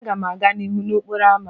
Aga m aga n'ihu n'okporo ámá.